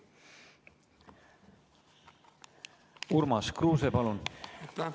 Urmas Kruuse, palun!